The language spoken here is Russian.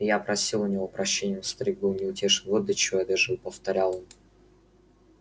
я просил у него прощения но старик был неутешен вот до чего я дожил повторял он